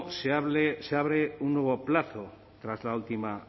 se abre un nuevo plazo tras la última